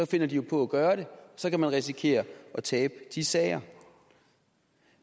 finder de jo på at gøre det og så kan man risikere at tabe de sager